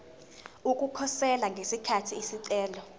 ukukhosela ngesikhathi isicelo